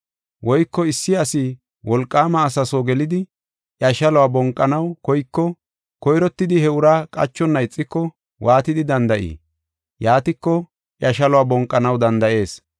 “Woyko issi asi wolqaama asa soo gelidi iya shaluwa bonqanaw koyko koyrottidi he uraa qachonna ixiko waatidi danda7ii? Yaatiko iya shaluwa bonqanaw danda7ees.